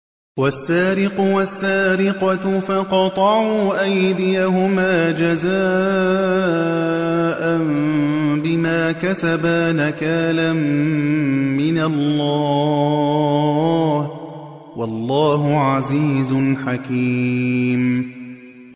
وَالسَّارِقُ وَالسَّارِقَةُ فَاقْطَعُوا أَيْدِيَهُمَا جَزَاءً بِمَا كَسَبَا نَكَالًا مِّنَ اللَّهِ ۗ وَاللَّهُ عَزِيزٌ حَكِيمٌ